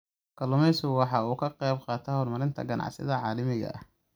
Kalluumaysigu waxa uu ka qayb qaataa horumarinta ganacsiga caalamiga ah.